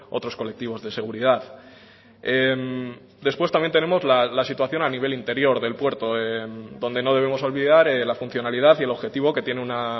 otros colectivos de seguridad después también tenemos la situación a nivel interior del puerto donde no debemos olvidar la funcionalidad y el objetivo que tiene una